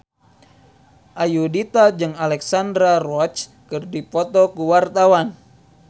Ayudhita jeung Alexandra Roach keur dipoto ku wartawan